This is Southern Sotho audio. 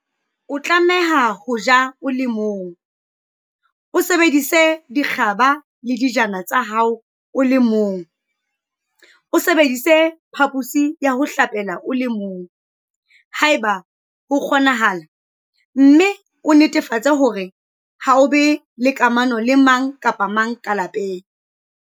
O tlameha ho ja o le mong, o sebedise dikgaba le dijana tsa hao o le mong, o sebedise phaphosi ya ho hlapela o le mong, haeba ho kgonahala, mme o netefatse hore ha o be le kamano le mang kapa mang ka lapeng.